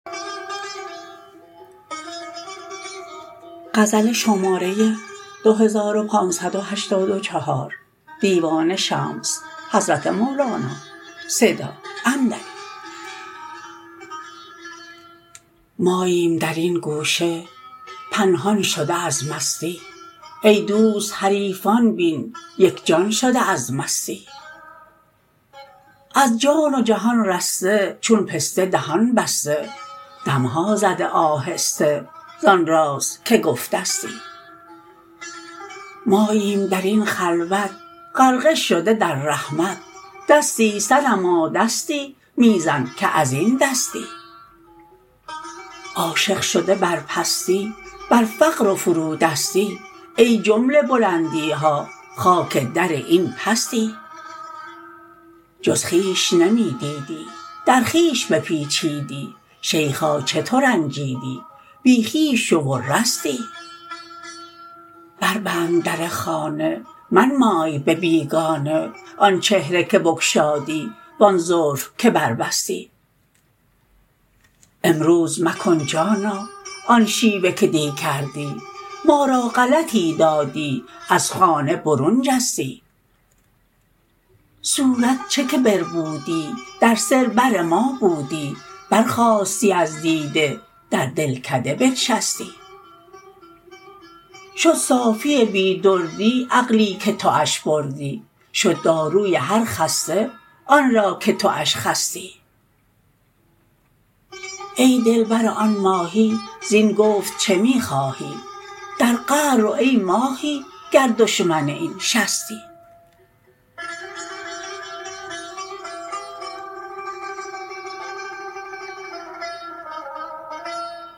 ماییم در این گوشه پنهان شده از مستی ای دوست حریفان بین یک جان شده از مستی از جان و جهان رسته چون پسته دهان بسته دم ها زده آهسته زان راز که گفتستی ماییم در این خلوت غرقه شده در رحمت دستی صنما دستی می زن که از این دستی عاشق شده بر پستی بر فقر و فرودستی ای جمله بلندی ها خاک در این پستی جز خویش نمی دیدی در خویش بپیچیدی شیخا چه ترنجیدی بی خویش شو و رستی بربند در خانه منمای به بیگانه آن چهره که بگشادی و آن زلف که بربستی امروز مکن جانا آن شیوه که دی کردی ما را غلطی دادی از خانه برون جستی صورت چه که بربودی در سر بر ما بودی برخاستی از دیده در دلکده بنشستی شد صافی بی دردی عقلی که توش بردی شد داروی هر خسته آن را که توش خستی ای دل بر آن ماهی زین گفت چه می خواهی در قعر رو ای ماهی گر دشمن این شستی